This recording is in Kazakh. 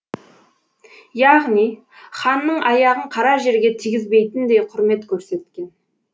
яғни ханның аяғын қара жерге тигізбейтіндей құрмет көрсеткен